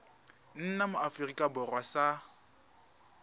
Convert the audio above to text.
nna mo aforika borwa sa